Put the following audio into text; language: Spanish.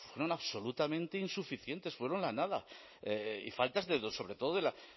fueron absolutamente insuficientes fueron la nada y faltas de sobre todo de la